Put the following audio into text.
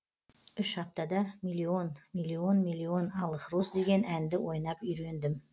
үш аптада миллион миллион миллион алых роз деген әнді ойнап үйрендім